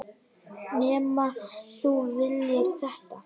Nema þú viljir þetta?